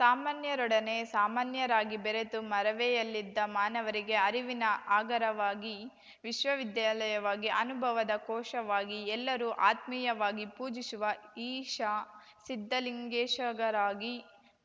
ಸಾಮಾನ್ಯರೊಡನೆ ಸಾಮಾನ್ಯರಾಗಿ ಬೆರೆತು ಮರವೆಯಲ್ಲಿದ್ದ ಮಾನವರಿಗೆ ಅರಿವಿನ ಆಗರವಾಗಿ ವಿಶ್ವವಿದ್ಯಾಲಯವಾಗಿ ಅನುಭವದ ಕೋಶವಾಗಿ ಎಲ್ಲರೂ ಆತ್ಮೀಯವಾಗಿ ಪೂಜಿಸುವ ಈಶ ಸಿದ್ಧಲಿಂಗೇಶಗರಾಗಿ